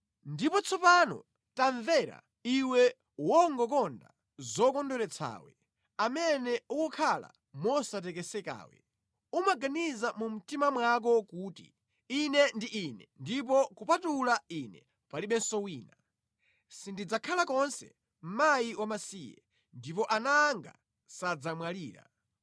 “Ndipo tsopano, tamvera, iwe wongokonda zokondweretsawe, amene ukukhala mosatekesekawe, umaganiza mu mtima mwako kuti, ‘Ine ndi Ine, ndipo kupatula ine palibenso wina. Sindidzakhala konse mkazi wamasiye, ndipo ana anga sadzamwalira.’